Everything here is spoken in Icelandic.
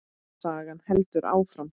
Sagan heldur áfram.